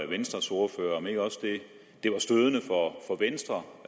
venstres ordfører om ikke også det er stødende for venstre